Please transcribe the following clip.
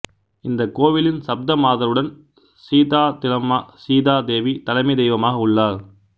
இந்த கோவிலின் சப்தமாதருடன் சீதாத்திலம்மா சீதா தேவி தலைமை தெய்வமாக உள்ளார்